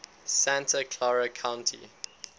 santa clara county